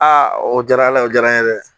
Aa o diyara ala ye o diyara n ye dɛ